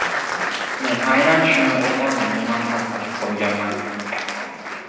Men aynan shuni o‘z oldimga maqsad qilib qo‘yganman.